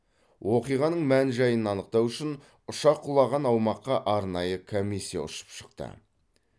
оқиғаның мән жайын анықтау үшін ұшақ құлаған аумаққа арнайы комиссия ұшып шықты